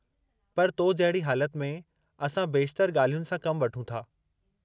पर तो जहिड़ी हालति में, असां बेशितरु ॻाल्हियुनि सां कमु वठूं था।